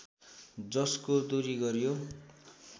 जसको दूरी गरियो